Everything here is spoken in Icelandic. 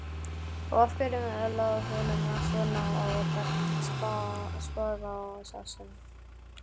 Og af hverju lá honum svona á að taka spaðaásinn?